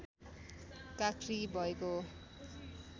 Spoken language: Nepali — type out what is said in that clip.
काँक्री भएको हो